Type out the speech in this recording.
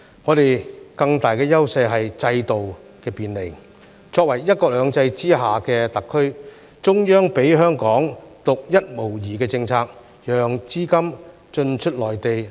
我們更大的優勢是制度的便利，作為"一國兩制"之下的特區，中央給予香港獨一無二的政策，讓資金進出內地。